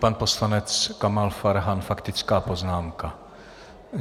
Pan poslanec Kamal Farhan - faktická poznámka.